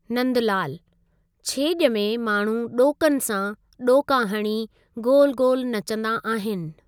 नंदलालु: छेज॒ में माण्हू डों॒कनि सां डों॒का हणी गोलु गोलु नचंदा आहिनि।